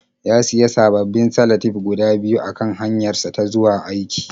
Ya sayi sababbin salatif guda biyu a kan hanyarsa ta zuwa aiki.